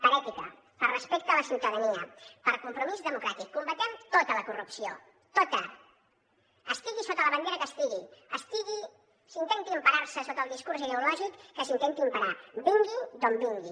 per ètica per respecte a la ciutadania per compromís democràtic combatem tota la corrupció tota estigui sota la bandera que estigui s’intenti emparar sota el discurs ideològic que s’intenti emparar vingui d’on vingui